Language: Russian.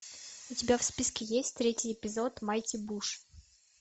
у тебя в списке есть третий эпизод майти буш